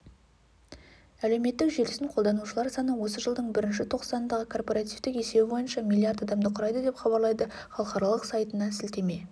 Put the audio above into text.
әлеуметтік желісін қолданушылар саны осы жылдың бірінші тоқсанындағы корпоративтік есебі бойынша миллиард адамды құрайды деп хабарлайды халықаралық сайтына сілтеме жасап